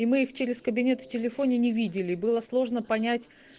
и мы их через кабинет в телефоне не видели было сложно понять